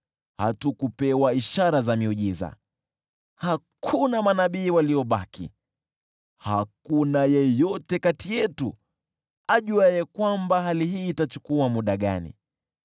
Hatukupewa ishara za miujiza; hakuna manabii waliobaki, hakuna yeyote kati yetu ajuaye hali hii itachukua muda gani.